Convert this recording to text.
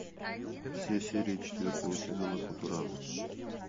все серии четвертого сезона футурамы